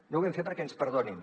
no ho vam fer perquè ens perdonin